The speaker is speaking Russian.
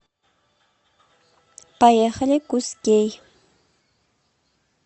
поехали кузкей